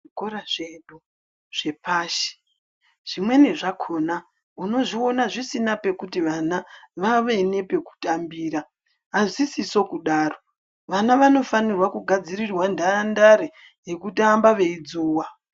Zvikora zvedu zvepashi, zvimweni zvakhona unozviona zvisina pekuti vana vave nepekutambira. Azvisiso kudaro ,vana vanofanirwa kugadzirirwa ntarandare yekutamba veidzuwa.